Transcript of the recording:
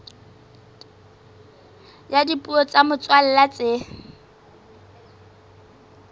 ya dipuo tsa motswalla tse